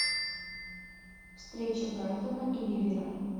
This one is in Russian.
встреча брайтона и ливера